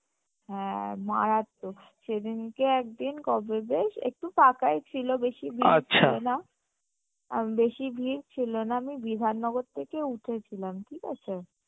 হ্যাঁ মারাত্মক সেদিনকে একদিন কবে বেশ একটু ফাঁকাই ছিলো বেশী ভীড় ছিলো না আ ম বেশী ভীড় ছিলো না আমি বিধান নগর থেকে উঠেছিলাম ঠিক আছে